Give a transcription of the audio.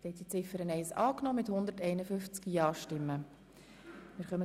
Sie haben Ziffer 1 einstimmig angenommen.